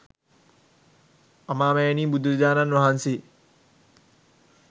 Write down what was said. අමාමෑණී බුදු රජාණන් වහන්සේ